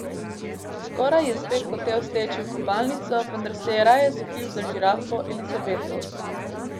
Skoraj je spet hotel steči v kopalnico, vendar se je raje skril za žirafo Elizabeto.